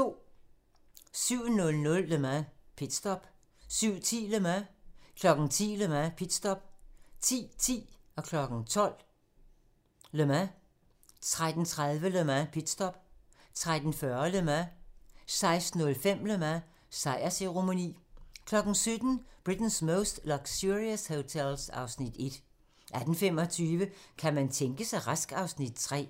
07:00: Le Mans - pitstop 07:10: Le Mans 10:00: Le Mans - pitstop 10:10: Le Mans 12:00: Le Mans 13:30: Le Mans - pitstop 13:40: Le Mans 16:05: Le Mans - sejrsceremoni 17:00: Britain's Most Luxurious Hotels (Afs. 1) 18:25: Kan man tænke sig rask? (Afs. 3)